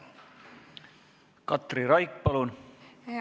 Katri Raik, palun!